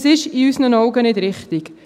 Das ist in unseren Augen nicht richtig.